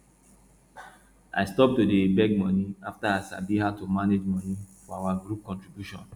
i stop to dey beg money after i sabi how to manage money for our group contribution